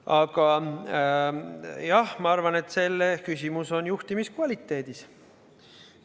Aga jah, ma arvan, et küsimus on juhtimiskvaliteedis.